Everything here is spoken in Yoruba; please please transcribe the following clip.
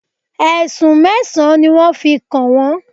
Ẹ̀sùn mẹ́sàn-án ni wọ́n fi kàn wọ́n.